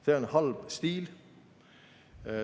" See on halb stiil.